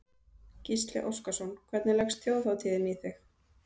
Gísli Óskarsson: Hvernig leggst þjóðhátíðin í þig?